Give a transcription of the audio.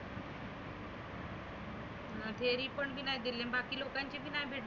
फेरी पण नाही दिले बाकी लोकांची पण नाही दिले.